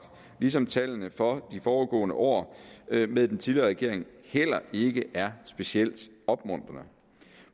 ligesom tallene for de foregående år med den tidligere regering heller ikke er specielt opmuntrende